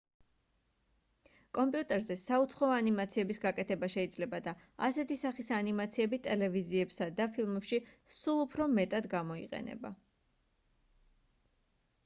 კომპიუტერზე საუცხოო ანიმაციების გაკეთება შეიძლება და ასეთი სახის ანიმაციები ტელევიზიებსა და ფილმებში სულ უფრო მეტად გამოიყენება